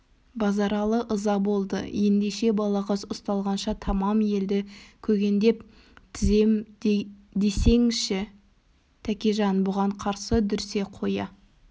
базаралы ыза болды ендеше балағаз ұсталғанша тамам елді көгендеп тізем десеңші тәкежан бұған қарсы дүрсе қоя